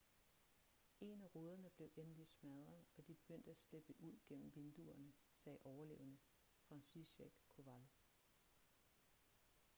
en af ruderne blev endelig smadret og de begyndte at slippe ud gennem vinduerne sagde overlevende franciszek kowal